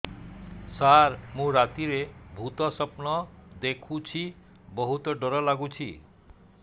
ସାର ମୁ ରାତିରେ ଭୁତ ସ୍ୱପ୍ନ ଦେଖୁଚି ବହୁତ ଡର ଲାଗୁଚି